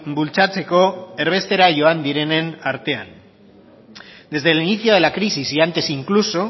bultzatzeko erbestera joan direnen artean desde el inicio de la crisis y antes incluso